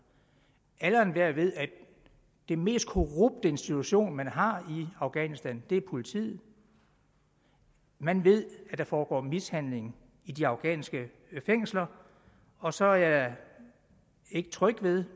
alle og enhver ved at den mest korrupte institution man har i afghanistan er politiet man ved at der foregår mishandling i de afghanske fængsler og så er jeg ikke tryg ved